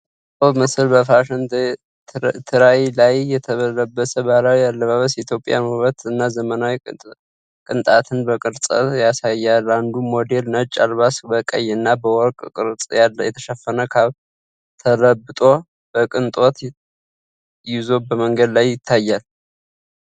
የተቀመጠው ምስል በፋሽን ትራይ ላይ የተለበሰ ባህላዊ አልባስ የኢትዮጵያን ውበት እና ዘመናዊ ቅንጣትን በቅርጽ ያቀርባል። አንዱ ሞዴል ነጭ አልባስ በቀይ እና በወርቅ ቅርጽ የተሸፈነ ካፕ ተለብጦ በቅንጣት ይዞ በመንገድ ላይ ታይቷል።